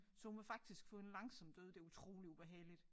Så hun vil faktisk få en langsom død det utrolig ubehageligt